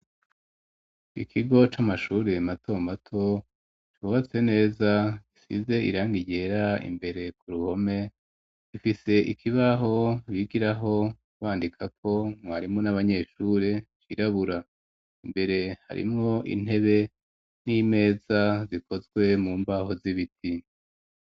ikigo c'amashuri mato mato cubatse neza gisize irangi ryera imbere ku ruhome, gifise ikibaho bigiraho bandikako mwarimu n'abanyeshuri cirabura, imbere harimwo intebe n'imeza zikozwe mu mbaho z'ibiti.